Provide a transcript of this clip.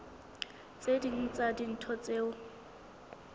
tse ding tsa dintho tseo